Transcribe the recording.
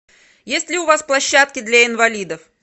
есть ли у вас площадки для инвалидов